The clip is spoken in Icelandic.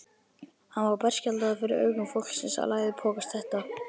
Hann var berskjaldaður fyrir augum fólksins að læðupokast þetta.